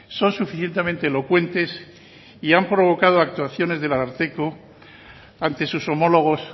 son suficientemente elocuentes y han provocado actuaciones del ararteko ante sus homólogos